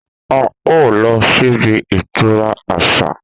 A o lọ síbi ìtura àṣà